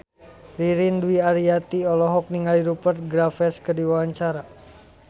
Ririn Dwi Ariyanti olohok ningali Rupert Graves keur diwawancara